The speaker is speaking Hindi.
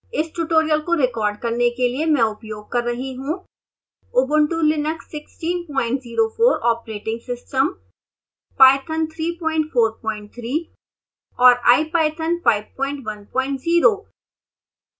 इस ट्यूटोरियल को रिकॉर्ड करने के लिए मैं उपयोग कर रही हूँ